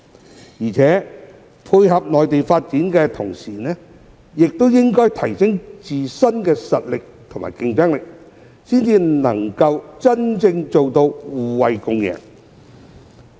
此外，在配合內地發展的同時，香港也應提升自身的實力和競爭力，才能真正做到互惠共贏。